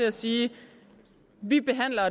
at sige vi behandler